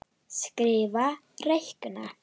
Skrifa- reikna